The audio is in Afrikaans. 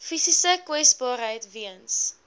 fisiese kwesbaarheid weens